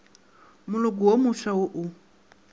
moloko wo mofsa wo o